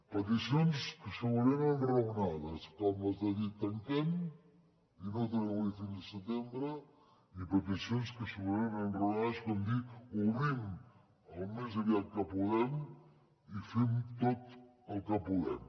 peticions que segurament eren raonades com les de dir tanquem i no tornem a obrir fins a setembre i peticions que segurament eren raonades com dir obrim al més aviat que podem i fem tot el que podem